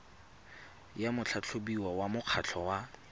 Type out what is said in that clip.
ya motlhatlhobiwa wa mokgatlho wa